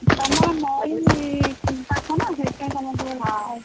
ତମର ନଇ ପାଖ ନା ସେଇଥିପାଇଁ ତମର ସବୁ ।